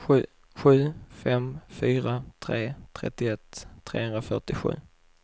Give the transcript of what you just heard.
sju fem fyra tre trettioett trehundrafyrtiosju